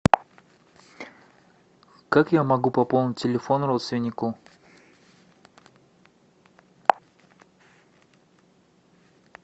как я могу пополнить телефон родственнику